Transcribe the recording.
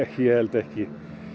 ég held ekki